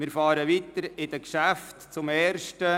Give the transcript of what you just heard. Wir fahren mit den Geschäften weiter.